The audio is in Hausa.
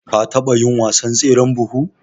ka taba yin wasan tseren buhu?